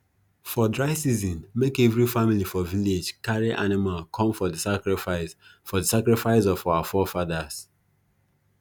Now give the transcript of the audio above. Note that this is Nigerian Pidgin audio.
for dry season make every family for village carry animal come for the sacrifice for the sacrifice of our forefathers